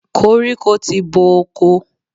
Koríko ti bo oko.